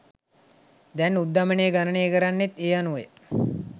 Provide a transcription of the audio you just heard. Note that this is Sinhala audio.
දැන් උද්ධමනය ගණනය කරන්නේ ඒ අනුවය